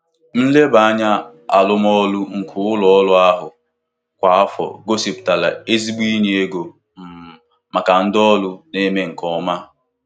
Nlebanya arụmọrụ nke ụlọ ọrụ ahụ kwa afọ gosipụta ezigbo inye ego um maka ndị ọrụ na-eme nke ọma.